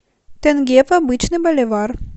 тенге в обычный боливар